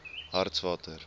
hartswater